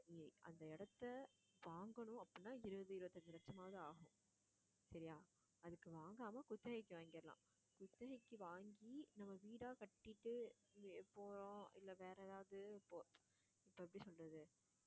அந்த இடத்தை வாங்கணும் அப்படின்னா இருபது, இருபத்தஞ்சு லட்சமாவது ஆகும் சரியா அதுக்கு வாங்காம குத்தகைக்கு வாங்கிறலாம். குத்தகைக்கு வாங்கி நம்ம வீடா கட்டிட்டு போறோம் இல்லை வேற ஏதாவது இப்போ